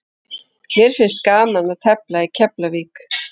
Mér finnst gaman að tefla í Keflavík.